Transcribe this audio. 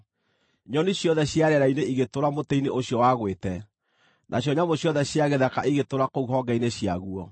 Nyoni ciothe cia rĩera-inĩ igĩtũũra mũtĩ-inĩ ũcio wagwĩte, nacio nyamũ ciothe cia gĩthaka igĩtũũra kũu honge-inĩ ciaguo.